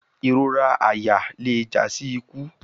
Irora àyà le ja si iku